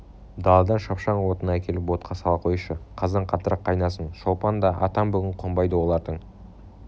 даладан шапшаң отын әкеліп отқа сала қойшы қазан қаттырақ қайнасын шолпан да атам бүгін қонбайды олардың